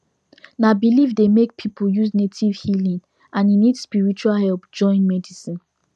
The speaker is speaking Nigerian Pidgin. na belief dey make people use native healing and e need spiritual help join medicine